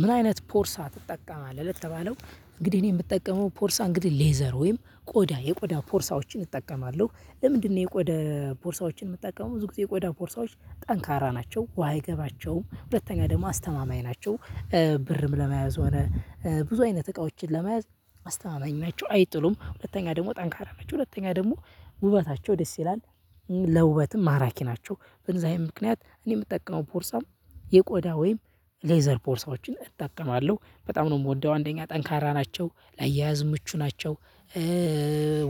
ምን አይነት ፖርሳ ትጠቀማለህ? ለተባለው እንግዲህ እኔ የምጠቀመው ፖርሳ እንግዲህ ሌዘር ወይም ቆዳ የቆዳ ፖርሳዎችን እጠቀማለሁ። ለምንድነው የቆዳ ፖርሳዎችን የምጠቀመው ብዙ ጊዜ የቆዳ ፖርሳዎች ጠንካራ ናቸው ውሃ አይገባቸውም። ሁለተኛ ደግሞ አስተማማኝ ናቸው። ብርም ለመያዝ ሆነ ብዙ አይነት እቃዎችን ለመያዝ አስተማማኝ ናቸው አይጥሉም ሁለተኛ ደግሞ ጠንካራ ናቸው። ሁለተኛ ደግሞ ውበታቸው ደስ ይላል። ለውበትም ማራኪ ናቸው በእንደዛ አይነት ምክንያት እኔ የምጠቀመው ፖርሳ የቆዳ ወይም ሌዘር ፖርሳዎችን እጠቀማለሁ። በጣም ነው የምወደው አንደኛ ጠንካራ ናቸው ላያያዝ ምቹ ናቸው።